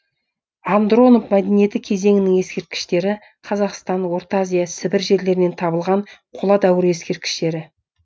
андронов мәдениеті кезеңінің ескерткіштері қазақстан орта азия сібір жерлерінен табылған қола дәуірі ескерткіштері